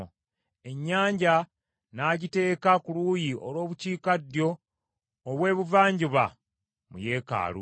Ennyanja n’agiteeka ku luuyi olw’obukiikaddyo obw’ebuvanjuba mu yeekaalu.